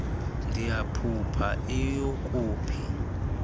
ndiyaphupha iyhu kuphi